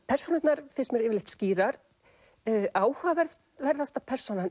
persónurnar finnst mér yfirleitt skýrar áhugaverðasta persónan